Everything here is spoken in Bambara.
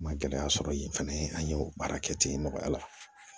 N ma gɛlɛya sɔrɔ yen fɛnɛ an ye o baara kɛ ten nɔgɔya la